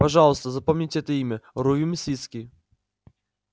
пожалуйста запомните это имя рувим свицкий